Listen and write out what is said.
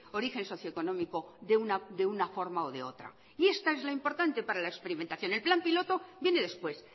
origen socio económico de una forma o de otra y esta es la importante para la experimentación el plan piloto viene después